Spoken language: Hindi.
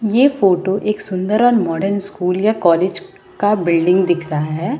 ये फोटो एक सुंदर और मॉडर्न स्कूल या कॉलेज का बिल्डिंग दिख रहा है।